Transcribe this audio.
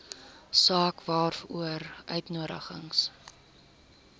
saak waaroor uitnodigings